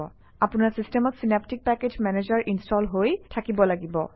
আপোনাৰ চিষ্টেমত synaptic package manager install হৈ থাকিব লাগিব